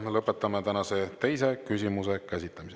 Lõpetame tänase teise küsimuse käsitlemise.